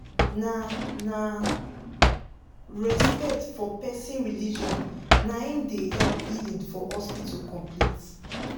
na na respect for person religion naim da help healing for hospital complete